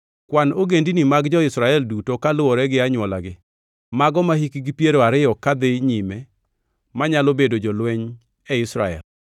“Kwan ogendini mag jo-Israel duto kaluwore gi anywolagi, mago mahikgi piero ariyo kadhi nyime manyalo bedo jolweny e Israel.”